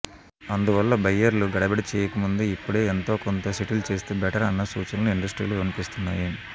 అందువల్ల బయ్యర్లు గడబిడ చేయకముందే ఇప్పుడే ఎంతోకొంత సెటిల్ చేస్తే బెటర్ అన్న సూచనలు ఇండస్ట్రీలో వినిపిస్తున్నాయి